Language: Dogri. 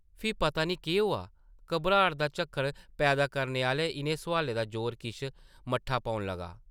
फ्ही पता नेईं केह् होआ, घबराट दा झक्खड़ पैदा करने आह्ले इʼनें सोआलें दा जोर किश मट्ठा पौन लग्गा ।